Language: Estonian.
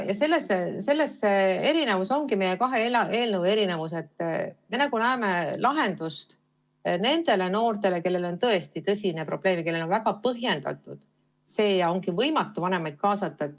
Nende kahe eelnõu vaheline erinevus ongi see, et meie näeme lahendust nendele noortele, kellel on tõesti tõsine probleem, kelle puhul on väga põhjendatud ja vanemaid kaasata on võimatu.